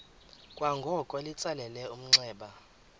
kwangoko litsalele umnxeba